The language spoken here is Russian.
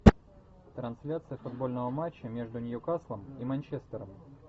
трансляция футбольного матча между ньюкаслом и манчестером